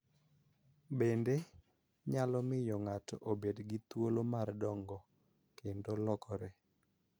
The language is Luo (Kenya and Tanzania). Bende, nyalo miyo ng�ato obed gi thuolo mar dongo kendo lokore.